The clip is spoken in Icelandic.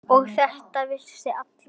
Og þetta veit allur bærinn?